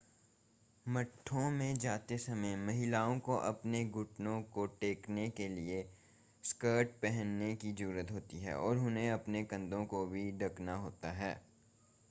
मठों में जाते समय महिलाओं को अपने घुटनों को ढकने के लिए स्कर्ट्स पहनने की ज़रूरत होती है और उन्हें अपने कंधों को भी ढकना होता है